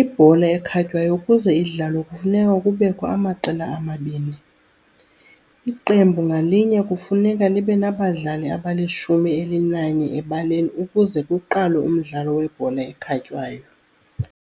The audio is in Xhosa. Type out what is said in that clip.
Ibhola ekhatywayo ukuze idlalwe kufuneka kubekho amaqela amabini, iqembu ngalinye kufuneka libenabadlali abalishumi elinanye ebaleni ukuze kuqalwe umdlalo webhola ekhatywayo.